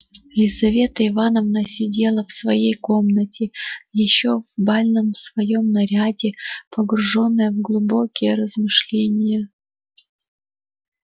лизавета ивановна сидела в своей комнате ещё в бальном своём наряде погружённая в глубокие размышления